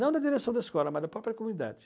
Não da direção da escola, mas da própria comunidade.